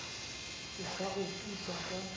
ke sa o putsa ka